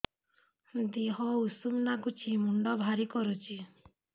ଦିହ ଉଷୁମ ନାଗୁଚି ମୁଣ୍ଡ ଭାରି କରୁଚି